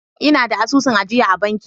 Ina da asusun ajiya a banki.